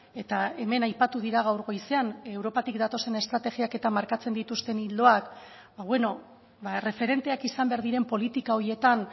eta hemen aipatu dira gaur goizean europatik datozen estrategiak eta markatzen dituzten ildoak erreferenteak izan behar diren politika horietan